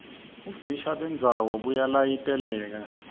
bufisha bendzawo buyalayiteleka